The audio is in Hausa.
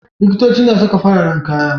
Likitoci na saka fararan kaya.